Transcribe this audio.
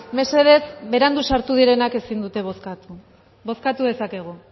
mesedez berandu sartu direnak ezin dute bozkatu bozkatu dezakegu